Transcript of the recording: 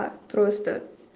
а просто